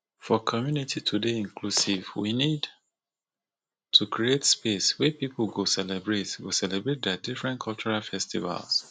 for community to dey inclusive we need to create space wey pipo go celebrate go celebrate their different cultural festivals